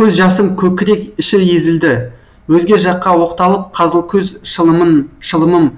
көз жасым көкірек іші езілді өзге жаққа оқталып қызылкөз шылымым